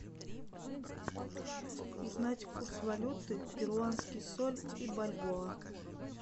узнать курс валюты перуанский соль и бальбоа